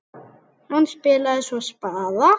Hann spilaði svo spaða.